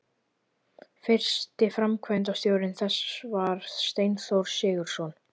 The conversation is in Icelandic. Fyrsti framkvæmdastjóri þess var Steinþór Sigurðsson.